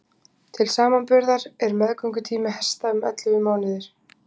til samanburðar er meðgöngutími hesta um ellefu mánuðir